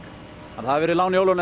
að það var lán í óláni að